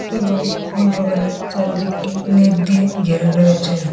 এবং ফুল বাগানের চারিদিকটি নেট দিয়ে ঘেরা রয়েছে।